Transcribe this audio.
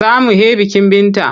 Za mu he bikin Binta.